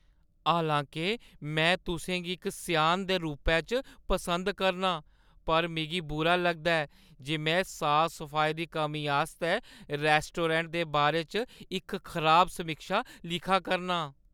हालांके मैं तुसें गी इक स्यान दे रूपै च पसंद करनां, पर मिगी बुरा लगदा ऐ जे में साफ-सफाई दी कमी आस्तै रेस्टोडैंट दे बारे च इक खराब समीक्षा लिखा करनां।